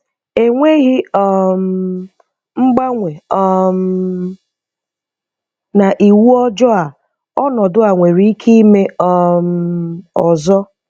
Enweghị um mgbanwe um na iwu ọjọọ a ọnọdụ a nwere ike ime um ọzọ.